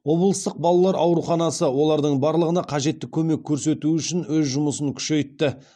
облыстық балалар ауруханасы олардың барлығына қажетті көмек көрсету үшін өз жұмысын күшейтті